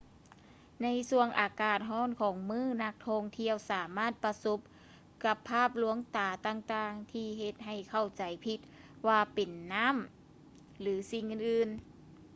ໃນຊ່ວງອາກາດຮ້ອນຂອງມື້ ນັກທ່ອງທ່ຽວສາມາດປະສົບກັບພາບລວງຕາຕ່າງໆທີ່ເຮັດໃຫ້ເຂົ້າໃຈຜິດວ່າເປັນນ້ຳ ຫຼື ສິ່ງອື່ນໆ